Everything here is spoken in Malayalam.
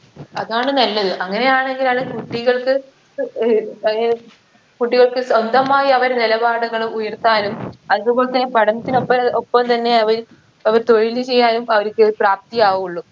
അതാണ് നല്ലത് അങ്ങനെയാണെങ്കിൽ അത് കുട്ടികൾക്ക് ഏർ ഏർ കുട്ടികൾക്ക് സ്വന്തമായ് അവരെ നിലപാടുകള് ഉയർത്താനും അതുപോൽത്തന്നെ പഠനത്തിനൊപ്പം ഒപ്പം തന്നെ അവര് അവർ തൊഴില് ചെയ്യാനും അവരിക്ക് പ്രാപ്തി ആവുള്ളു